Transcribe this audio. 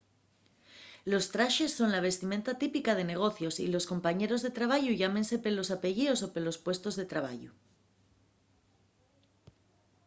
los traxes son la vistimenta típica de negocios y los compañeros de trabayu llámense pelos apellíos o pelos puestos de trabayu